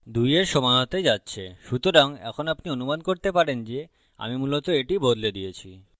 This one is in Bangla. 2 এর সমান হতে যাচ্ছে সুতরাং এখন আপনি অনুমান করতে পারেন guess আমি মূলত এটি বদলে দিয়েছি